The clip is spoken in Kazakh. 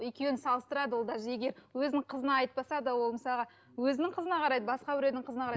екеуін салыстырады ол даже егер өзінің қызына айтпаса да ол мысалға өзінің қызына қарайды басқа біреудің қызына қарайды